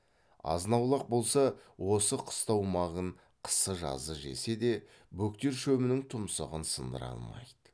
азын аулақ болса осы қыстау мағын қысы жазы жесе де бөктер шөбінің тұмсығын сындыра алмайды